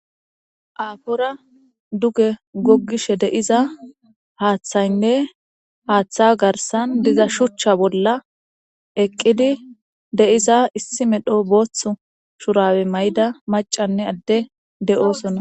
Aafora duge goggishe deiza haaththaynne haaththa garsan diza shuchcha bolla eqqidi de7iza issi medho booththu shurawe may7da macanne adde de7oosonna